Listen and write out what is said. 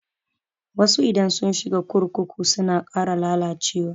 Wasu idan sun shiga kurkuku suna ƙara lalacewa.